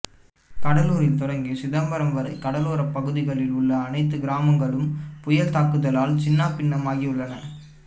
கடலூரில் தொடங்கி சிதம்பரம் வரை கடலோரப்பகுதிகளில் உள்ள அனைத்து கிராமங்களும் புயல் தாக்குதலால் சின்னாபின்னமாகியுள்ளன